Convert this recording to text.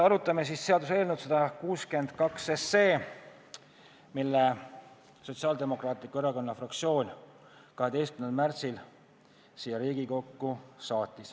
Arutame seaduseelnõu 162, mille Sotsiaaldemokraatliku Erakonna fraktsioon saatis 12. märtsil siia Riigikokku.